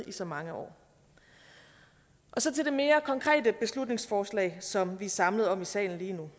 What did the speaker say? i så mange år så til det mere konkrete beslutningsforslag som vi er samlet om i salen lige nu